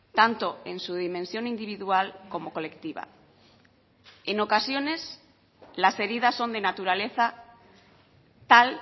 tanto en su dimensión individual como colectiva en ocasiones las heridas son de naturaleza tal